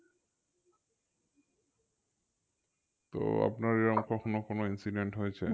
তো আপনার এরম কখনো কোনো incident হয়েছে?